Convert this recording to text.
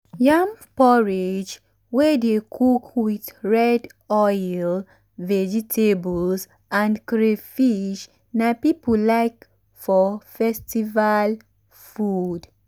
yam porridge wey dey cook with red oil vegetables and crayfish na people like for festival food.